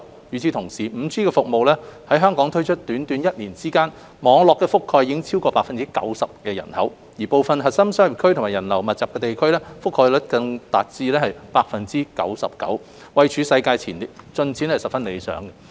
與此同時 ，5G 服務在香港推出短短一年間，網絡覆蓋已超過 90% 的人口，部分核心商業區及人流密集的地區，覆蓋率更達至 99%， 位處世界前列，進展十分理想。